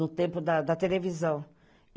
No tempo da da televisão.